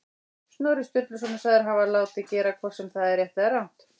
Snorri Sturluson er sagður hafa látið gera, hvort sem það er rétt eða rangt.